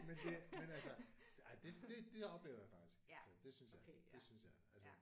Men det men altså ej det det det oplever jeg faktisk altså det synes jeg det synes jeg altså